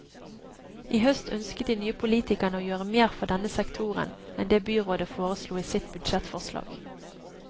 I høst ønsket de nye politikerne å gjøre mer for denne sektoren enn det byrådet foreslo i sitt budsjettforslag.